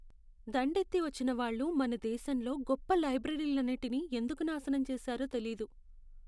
దండెత్తి వచ్చిన వాళ్ళు మన దేశంలో గొప్ప లైబ్రరీలన్నిటినీ ఎందుకు నాశనం చేసారో తెలీదు.